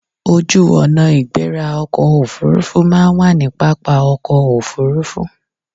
Ojú ọ̀nà ìgbéra ọkọ̀ Òfurufú máa ń wà ní pápá ọkọ̀ Òfurufú.